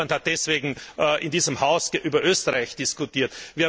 Niemand hat deswegen in diesem Haus über Österreich diskutiert.